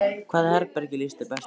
Hvaða herbergi líst þér best á?